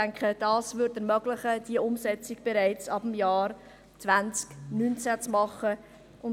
Das würde ermöglichen, die Umsetzung bereits ab dem Jahr 2019 vorzunehmen.